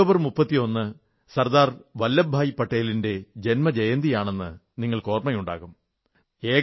October 31 Sardar Vallabhbhai പട്ടേലിന്റെ ജന്മജയന്തിയാണെന്ന് നിങ്ങൾക്ക് ഓർമ്മയുണ്ടാകും